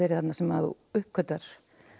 þarna sem að þú uppgötvar